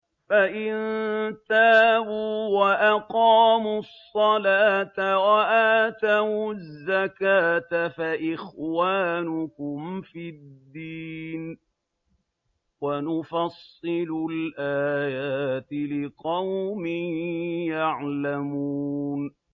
فَإِن تَابُوا وَأَقَامُوا الصَّلَاةَ وَآتَوُا الزَّكَاةَ فَإِخْوَانُكُمْ فِي الدِّينِ ۗ وَنُفَصِّلُ الْآيَاتِ لِقَوْمٍ يَعْلَمُونَ